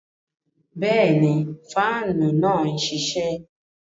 Bẹẹni, faanu náà nṣiṣẹ